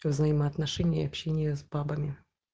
про взаимоотношения общения и общения с бабами